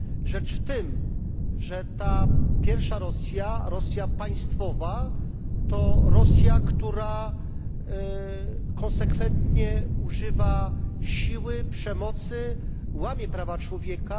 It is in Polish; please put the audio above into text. Rzecz w tym, że ta pierwsza Rosja, Rosja państwowa, to Rosja, która konsekwentnie używa siły, przemocy, łamie prawa człowieka.